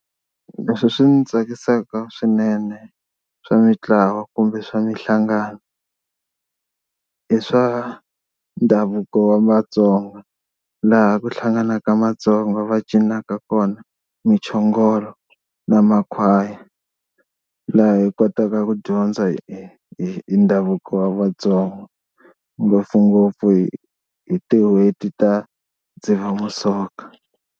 Leswi swi ndzi tsakisaka swinene swa mitlawa kumbe swa mihlangano i swa ndhavuko wa Matsonga laha ku hlanganaka Matsonga va cinaka kona muchongolo na makhwaya laha hi kotaka ku dyondza hi ndhavuko wa Vatsonga ngopfungopfu hi tin'hweti ta Dzivamisoko.